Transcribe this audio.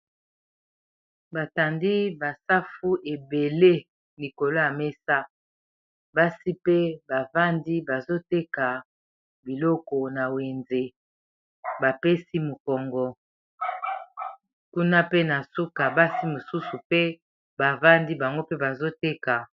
batandi basafu ebele nikolo ya mesa basi mpe bavandi bazoteka biloko na wenze bapesi mokongo kuna pe na suka basi mosusu pe bavandi bango mpe bazoteka